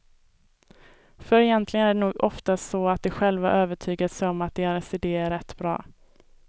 För egentligen är det nog oftast så, att de själva övertygat sig om att deras idé är rätt bra.